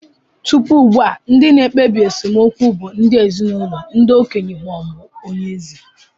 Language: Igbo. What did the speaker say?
Tupu ugbu a, ndị na-ekpebi nsemokwu bụ ndị ezinụlọ, ndị okenye, ma ọ bụ onye eze.